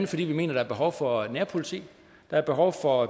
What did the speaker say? fordi vi mener der er behov for nærpoliti der er behov for